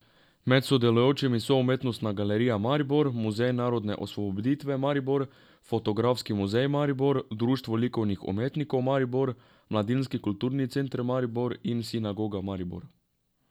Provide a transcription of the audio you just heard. Med sodelujočimi so Umetnostna galerija Maribor, Muzej narodne osvoboditve Maribor, Fotografski muzej Maribor, Društvo likovnih umetnikov Maribor, Mladinski kulturni center Maribor in Sinagoga Maribor.